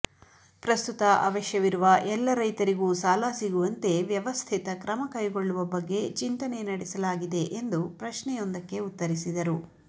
ಪ್ರಸ್ತುತ ಅವಶ್ಯವಿರುವ ಎಲ್ಲ ರೈತರಿಗೂ ಸಾಲ ಸಿಗುವಂತೆ ವ್ಯವಸ್ಥಿತ ಕ್ರಮ ಕೈಗೊಳ್ಳುವ ಬಗ್ಗೆ ಚಿಂತನೆ ನಡೆಸಲಾಗಿದೆ ಎಂದು ಪ್ರಶ್ನೆಯೊಂದಕ್ಕೆ ಉತ್ತರಿಸಿದರು